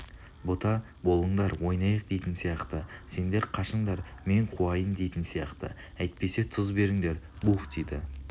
бота болыңдар ойнайық дейтін сияқты сендер қашыңдар мен қуайын дейтін сияқты әйтпесе тұз беріңдер буһ дейді